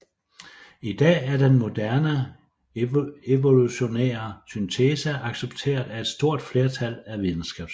I dag er den moderne evolutionære syntese accepteret af et stort flertal af videnskabsfolk